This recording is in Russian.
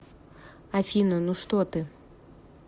афина ну что ты